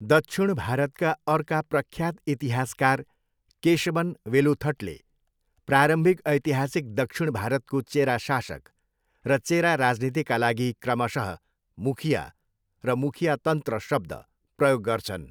दक्षिण भारतका अर्का प्रख्यात इतिहासकार केशवन वेलुथटले प्रारम्भिक ऐतिहासिक दक्षिण भारतको चेरा शासक र चेरा राजनितिका लागि क्रमशः 'मुखिया' र 'मुखियातन्त्र' शब्द प्रयोग गर्छन्।